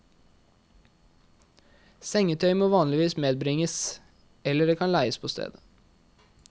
Sengetøy må vanligvis medbringes, eller det kan leies på stedet.